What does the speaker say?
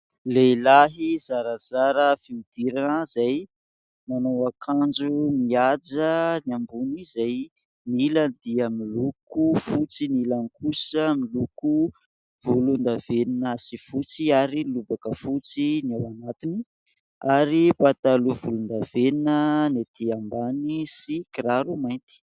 Lehilahy zarazara fihodirana izay manao ankanjo mihaja ny ambony izay ny ilany dia miloko fotsy ny ilany kosa miloko volondavenona sy fotsy, ary lobaka fotsy ny ao anatiny, ary mipataloha volondavenona ny etỳ ambany sy kiraro mainty.